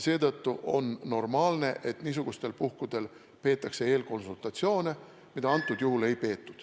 Seetõttu on normaalne, et niisugustel puhkudel peetakse eelkonsultatsioone, mida antud juhul ei peetud.